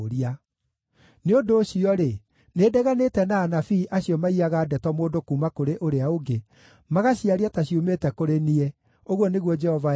“Nĩ ũndũ ũcio-rĩ, nĩndeganĩte na anabii acio maiyaga ndeto mũndũ kuuma kũrĩ ũrĩa ũngĩ, magaciaria ta ciumĩte kũrĩ niĩ,” ũguo nĩguo Jehova ekuuga.